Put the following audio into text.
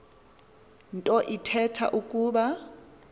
nto ithetha ukuba